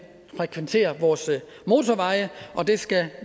frekventere vores motorveje og det skal